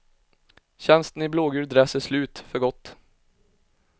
Tjänsten i blågul dress är slut, för gott.